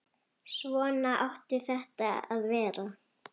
Svona átti þetta að vera.